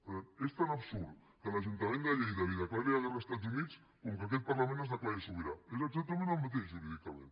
per tant és tan absurd que l’ajuntament de lleida declari la guerra als estats units com que aquest parlament es declari sobirà és exactament el mateix jurídicament